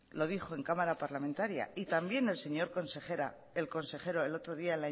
lo dijo en cámara parlamentaria y también el señor consejero el otro día